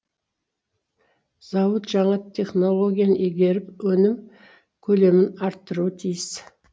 зауыт жаңа технологияны игеріп өнім көлемін арттыруы тиіс